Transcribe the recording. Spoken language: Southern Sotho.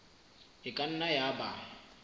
e ka nna ya ba